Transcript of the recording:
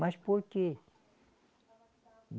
Mas por quê?